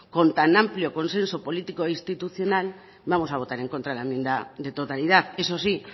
con tan amplio consenso político e institucional vamos a votar en contra de la enmienda de totalidad eso sí